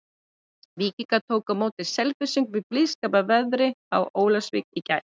Víkingar tóku á móti Selfyssingum í blíðskapar veðri í Ólafsvík í gær.